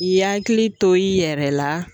I hakili to i yɛrɛ la